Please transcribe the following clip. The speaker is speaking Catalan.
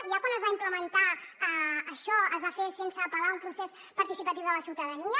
ja quan es va implementar això es va fer sense apel·lar a un procés participatiu de la ciutadania